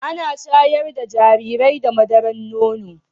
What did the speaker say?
Ana shayar da jarirai da madaran nono